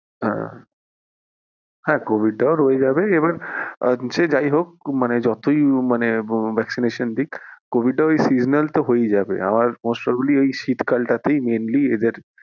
হ্যাঁ, হ্যাঁ covid টাও রয়ে যাবে এবার সে যাই হোক মানে যতই মানে vaccination দিক covid টা ওই seasonal তো হয়েই যাবে আমার most probably শীতকাল টা তেই mainly এদের,